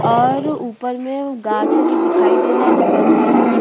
और ऊपर में वो गाच है जो दिखाई दे रहा है जो परछाई में दि --